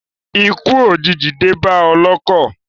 Ikú òjìji dé bá ọlọ́kọ̀.